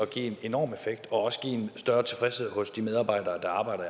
give en enorm effekt og også give en større tilfredshed hos de medarbejdere der arbejder